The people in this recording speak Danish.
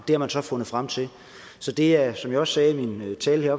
det har man så fundet frem til så det er som jeg også sagde i min tale